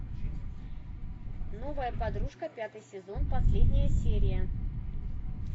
новая подружка пятый сезон последняя серия